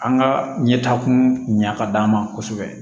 An ka ɲɛtakun ɲɛ ka d'an ma kosɛbɛ